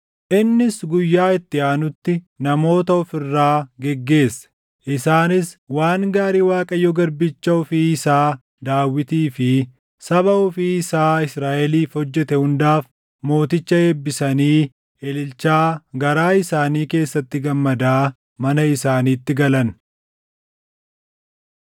Innis guyyaa itti aanutti namoota of irraa geggeesse. Isaanis waan gaarii Waaqayyo garbicha ofii isaa Daawitii fi saba ofii isaa Israaʼeliif hojjete hundaaf mooticha eebbisanii ililchaa garaa isaanii keessatti gammadaa mana isaaniitti galan.